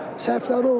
Səhvləri oldu.